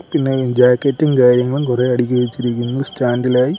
പിന്നെ ജാക്കറ്റും കാര്യങ്ങളും കുറെ അടക്കി വെച്ചിരിക്കുന്നു സ്റ്റാൻഡ് ഇൽ ആയി.